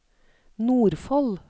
Nordfold